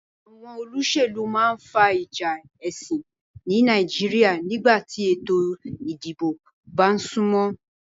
Àwon olósèlú ma n fa ìjà èsìn ni Naijiria nígbàtí ètò ìdibò ba súnmó